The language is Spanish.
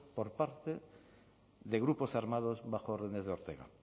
por parte de grupos armados bajo órdenes de ortega